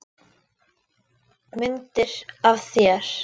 Myndir af þér.